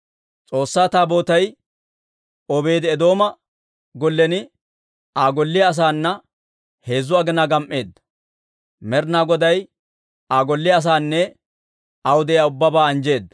S'oossaa Taabootay Obeedi-Eedooma gollen Aa golliyaa asaana heezzu aginaa gam"eedda. Med'inaa Goday Aa golliyaa asaanne aw de'iyaa ubbabaa anjjeedda.